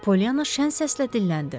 Pollyanna şən səslə dilləndi.